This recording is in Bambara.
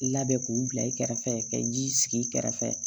Labɛn k'u bila i kɛrɛfɛ ka ji sigi i kɛrɛfɛ